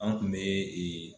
An kun bɛ